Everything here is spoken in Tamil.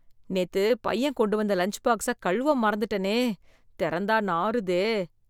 நேத்து பையன் கொண்டு வந்த லஞ்ச் பாக்ஸை கழுவ மறந்துட்டனே, திறந்தா நாறுதே.